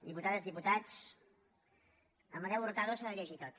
diputades i diputats amadeu hurtado s’ha de llegir tot